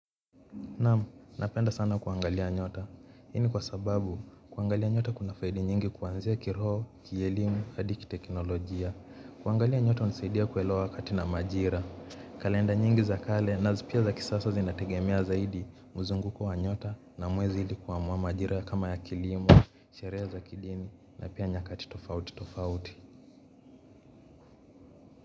Naam, napenda sana kuangalia nyota, hii ni kwa sababu kuangalia nyota kuna faida nyingi kuanzia kiroho, kielimu, hadi kiteknolojia. Kuangalia nyota hunisaidia kuelewa wakati na majira. Kalenda nyingi za kale na pia za kisasa zinategemea zaidi mzunguko wa nyota na mwezi ili kuamua majira kama ya kilimo, sherehe za kidini na pia nyakati tofauti tofauti.